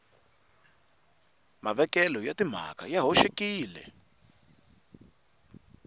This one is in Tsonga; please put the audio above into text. mavekelo ya timhaka ya hoxekile